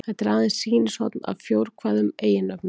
Þetta er aðeins sýnishorn af fjórkvæðum eiginnöfnum.